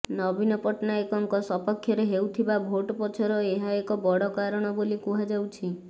ନବୀନ ପଟ୍ଟନାୟକଙ୍କ ସପକ୍ଷରେ ହେଉଥିବା ଭୋଟ୍ ପଛର ଏହା ଏକ ବଡ଼ କାରଣ ବୋଲି କୁହାଯାଉଛି